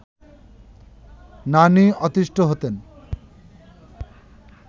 নানি অতিষ্ঠ হতেন